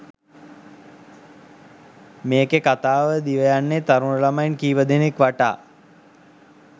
මේකෙ කතාව දිවයන්නෙ තරුණ ළමයින් කීපදෙනෙක් වටා.